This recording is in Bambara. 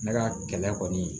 Ne ka kɛlɛ kɔni